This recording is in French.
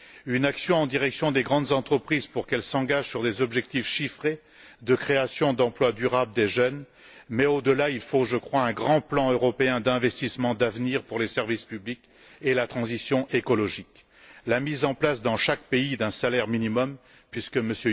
une action en direction des grandes entreprises pour qu'elles s'engagent sur des objectifs chiffrés de création d'emplois durables des jeunes Mais, au delà, je pense qu'il faut un grand plan européen d'investissement d'avenir pour les services publics et la transition écologique la mise en place dans chaque pays d'un salaire minimum puisque M.